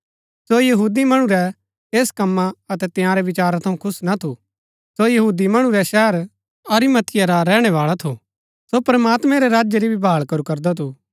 सो यहूदी मणु रै ऐस कम्मा अतै तंयारै विचारा थऊँ खुश ना थू सो यहूदी मणु रै शहर अरिमतिया रा रैहणै बाळा थू सो प्रमात्मैं रै राज्य री भाळ करू करदा थू